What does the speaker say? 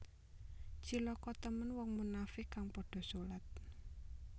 Cilaka temen wong munafiq kang padha solat